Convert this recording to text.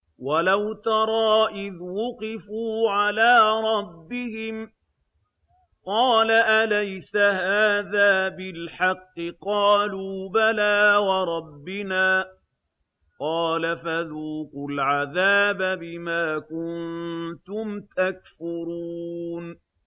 وَلَوْ تَرَىٰ إِذْ وُقِفُوا عَلَىٰ رَبِّهِمْ ۚ قَالَ أَلَيْسَ هَٰذَا بِالْحَقِّ ۚ قَالُوا بَلَىٰ وَرَبِّنَا ۚ قَالَ فَذُوقُوا الْعَذَابَ بِمَا كُنتُمْ تَكْفُرُونَ